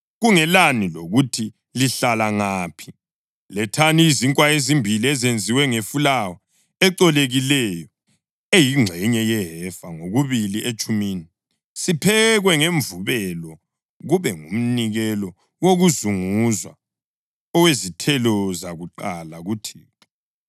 Kungelani lokuthi lihlala ngaphi, lethani izinkwa ezimbili ezenziwe ngefulawa ecolekileyo, eyingxenye yehefa ngokubili etshumini, siphekwe ngemvubelo, kube ngumnikelo wokuzunguzwa, owezithelo zakuqala kuThixo.